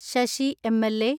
Sasi M L. A